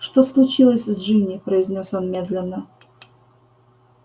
что случилось с джинни произнёс он медленно